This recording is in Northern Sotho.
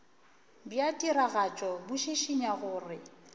bja tiragatšo bo šišinya gore